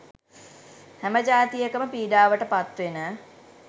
හැම ජාතියකම පීඩාවට පත් වෙන.